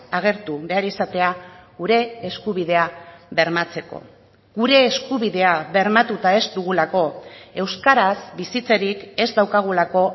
agertu behar izatea gure eskubidea bermatzeko gure eskubidea bermatuta ez dugulako euskaraz bizitzerik ez daukagulako